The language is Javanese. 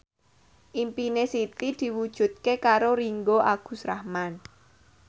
impine Siti diwujudke karo Ringgo Agus Rahman